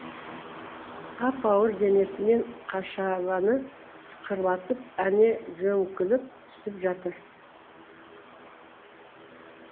ап ауыр денесімен қашабаны сықырлатып әне жөңкіліп түсіп жатыр